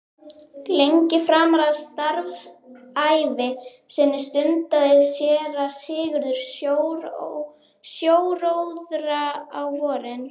Lengi framan af starfsævi sinni stundaði séra Sigurður sjóróðra á vorin.